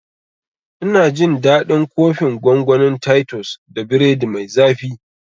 Ina jin daɗin kofin gongonin titus da biredi mai zafi